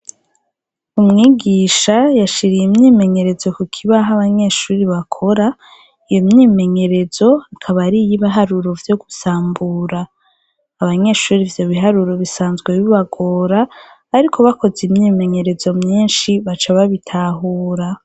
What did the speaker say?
Umwigisha, yashiriye imyimenyerezo ku kibaho abanyeshuri bakora, iyo myimenyerezo akaba ari iy'ibaharuro vyo gusambura. Abanyeshuri ivyo biharuro bisanzwe bibagora, ariko bakoze imyimenyerezo myinshi, baca babitahura.